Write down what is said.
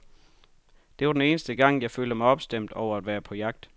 Det var den eneste gang, jeg følte mig opstemt over at være på jagt.